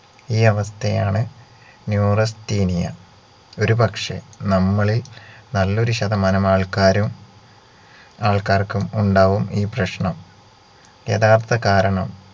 ഈ അവസ്ഥയാണ് neurasthenia ഒരുപക്ഷെ നമ്മളിൽ നല്ലൊരു ശതമാനം ആൾക്കാരും ആൾക്കാർക്കും ഉണ്ടാവും ഈ പ്രശ്നം യഥാർത്ഥ കാരണം